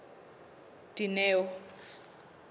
dineo